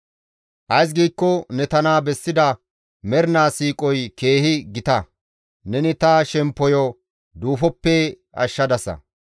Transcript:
Ays giikko ne tana bessida mernaa siiqoy keehi gita; neni ta shemppoyo duufoppe ashshadasa.